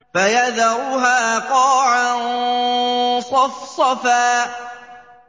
فَيَذَرُهَا قَاعًا صَفْصَفًا